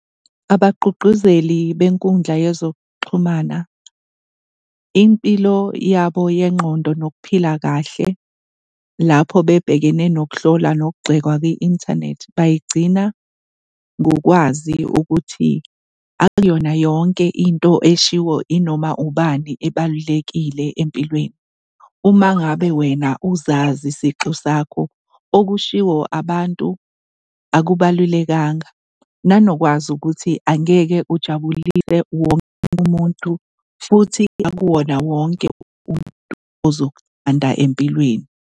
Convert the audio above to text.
Abagqugquzeli bekundla yezokuxhumana, impilo yabo yengqondo nokuphila kahle lapho bebhekene nokuhlola nokugxekwa kwi-inthanethi bayigcina ngokwazi ukuthi akuyona yonke into eshiwo inoma ubani ebalulekile empilweni. Uma ngabe wena uzazi sixu sakho okushiwo abantu akubalulekanga, nanokwazi ukuthi angeke ujabulise wonke umuntu futhi akuwona wonke umuntu ozokuthanda empilweni.